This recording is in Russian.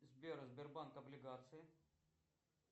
сбер сбербанк облигации